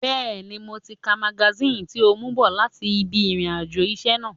Bẹ́ẹ̀ni, mo ti ka magasíìnì tí o mú bọ̀ láti ibi ìrìn àjò iṣẹ́ náà